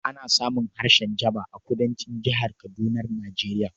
Ana samun harshen Jaba a Kudancin Jihar Kadunar Nijeriya